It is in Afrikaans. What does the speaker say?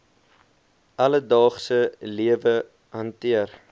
alledaagse lewe hanteer